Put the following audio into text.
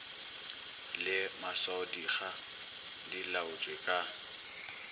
le maswaodikga di laotšwe ka